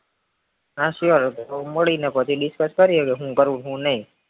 હા sure મળી ને પછી discuss કરીએ કે હુ કરવું અને હું નય